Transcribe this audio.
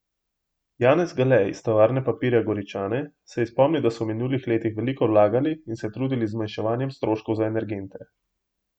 Janez Gale iz Tovarne papirja Goričane je spomnil, da so v minulih letih veliko vlagali in se trudili z zmanjšanjem stroškov za energente.